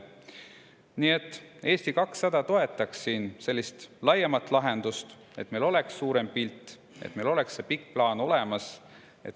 Nii et Eesti 200 toetab laiemat lahendust, et meil oleks suurem pilt ja et meil oleks pikk plaan olemas.